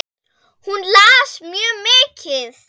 Hún las mikið.